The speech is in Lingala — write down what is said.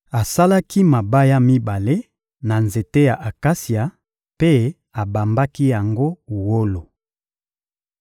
Asalaki mabaya mibale na nzete ya akasia mpe abambaki yango wolo.